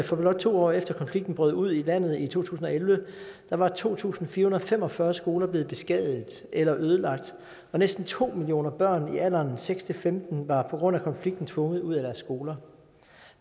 for blot to år efter at konflikten brød ud i landet i to tusind og elleve var to tusind fire hundrede og fem og fyrre skoler blevet beskadiget eller ødelagt og næsten to millioner børn i alderen seks femten år var på grund af konflikten tvunget ud af deres skoler